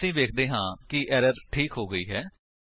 ਅਸੀ ਵੇਖਦੇ ਹਾਂ ਕਿ ਐਰਰ ਠੀਕ ਹੋ ਗਈ ਹੈ